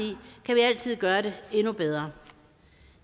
altid gøre det endnu bedre